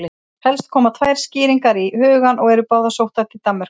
Helst koma tvær skýringar í hugann og eru báðar sóttar til Danmerkur.